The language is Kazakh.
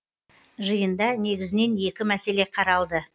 жиында негізінен екі мәселе қаралды